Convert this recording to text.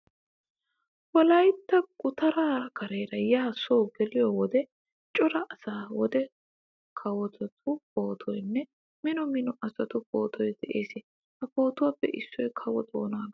Wolaytta gutaraa kareelra yaa soo geliyo wode cora kase wode kawotu pootoynne mino mino asatu pootoy de'ees. Ha pootuwappe issoy Kawo Xoonaagaa.